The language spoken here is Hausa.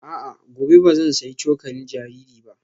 A'a, gobe ba zan sayi cokalin jariri ba